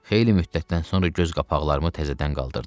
Xeyli müddətdən sonra göz qapaqlarımı təzədən qaldırdım.